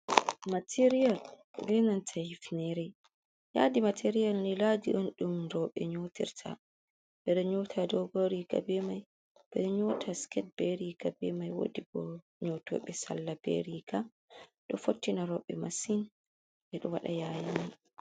Materiyal be Nanta hifnere, yadi material ni yadi on dum roɓe nyotirta ɓeɗo nyota dogo riga bemai ɓeɗo nyota sket be riga bemai wodi bo nyotoɓe salla be riga ɗo fottina roɓe masin ɓeɗo waɗa yayi mai.